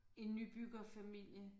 En nybyggerfamilie